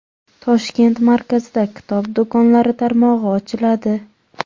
Toshkent markazida kitob do‘konlari tarmog‘i ochiladi.